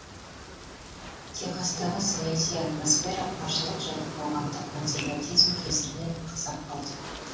техастағы саяси атмосфера қаржылық және қоғамдық консерватизм кесірінен ақсап қалды